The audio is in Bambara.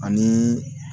Ani